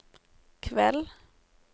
kveld